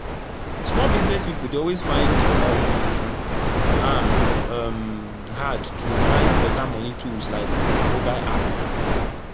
small business pipu dey always find um am um hard to find better moni tools like mobile app